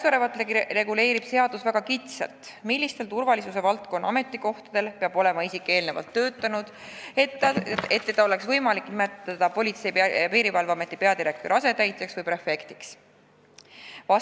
Praegu reguleerib seadus väga kitsalt, millistel turvalisuse valdkonna ametikohtadel peab isik olema eelnevalt töötanud, et teda oleks võimalik nimetada Politsei- ja Piirivalveameti peadirektori asetäitjaks või prefektiks.